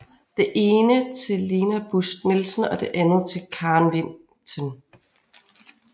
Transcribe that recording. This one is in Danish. Det ene til Lena Bust Nielsen og det andet til Karen Vinten